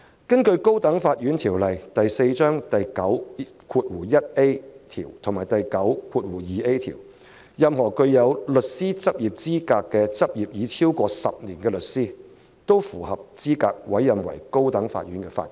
根據《高等法院條例》第9及第9條，任何人具有資格並執業為高等法院律師超過10年，都符合資格獲委任為高等法院法官。